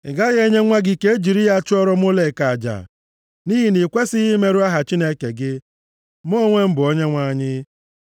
“ ‘Ị gaghị enye nwa gị ka e jiri ya chụọrọ Molek aja. + 18:21 \+xt Lev 20:2-5\+xt* Nʼihi na i kwesighị imerụ aha Chineke gị. Mụ onwe m bụ Onyenwe anyị.